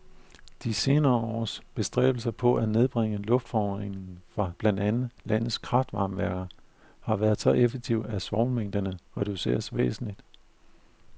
De senere års bestræbelser på at nedbringe luftforureningen fra blandt andet landets kraftvarmeværker har været så effektive, at svovlmængderne reduceret væsentligt.